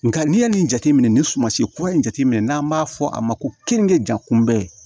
Nka n'i ye nin jateminɛ nin suman si kura in jateminɛ n'an b'a fɔ a ma ko kɛniga kunbɛ